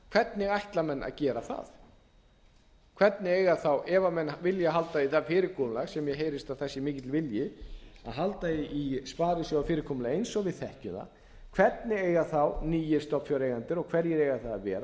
hvernig ætla menn að gera það ef menn vilja halda í það fyrirkomulag sem mér heyrist að það sé mikill vilji að halda í sparisjóðafyrirkomulagið eins og við þekkjum það hvernig eiga þá nýir stofnfjáreigendur og hverjir eiga það að vera